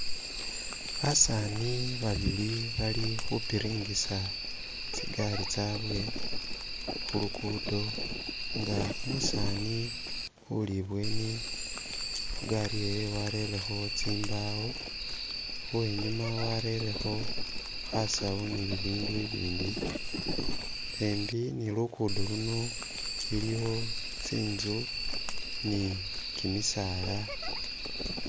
Basani babili bali khupiringisa tsigari tsabwe khulugudo nga umusani uli ibweni igaari yewe warelekho tsimbawo wenyuma warelekho khasau ni bindu ibindi khembi ni lugudo luno iiwo tsinzu ni gimisaala.